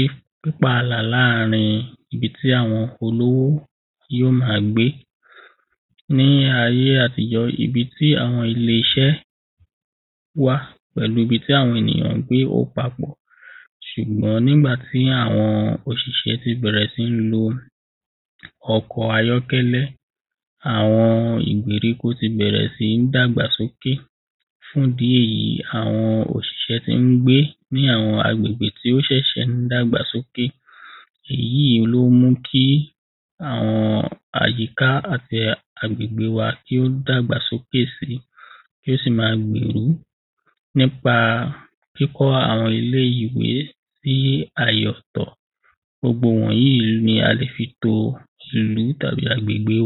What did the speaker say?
ì pípàlà láàrin ibi ti àwọn olówó yóò ma gbé ní ayé àtijọ́, ibi tí àwọn ilé-iṣẹ́ wà pẹ̀lú ibi tí àwọn ènìyàn ń gbé ó papọ̀ ṣùgbọ́n nígbà tí àwọn òṣìṣẹ́ ti bẹ̀rẹ̀ sí ń lo ọkọ̀ ayọ̀kẹ́lẹ́, àwọn ìgbèríko ti bẹ̀rẹ̀ sí ń dàgbà sókè fún ìdí èyí àwọn òṣìṣẹ́ ti ń gbé ní àwọn agbègbè tí ó ṣẹ̀ṣẹ̀ ń dàgbà sókè èyí ló mú kí àwọn àyíká àti agbègbè wa kí ó dàgbà sókè si tí ó sì ma gbèrú nípa kíkọ́ àwọn ilé-ìwé sí àyè ọ̀tọ̀. gbogbo wọ̀nyí ni a lè fi to ìlú tàbí agbègbè